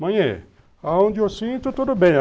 Mãe, aonde eu sinto, tudo bem.